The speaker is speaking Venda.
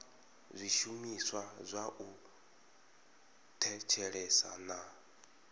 zwishumiswa zwa u thetshelesa na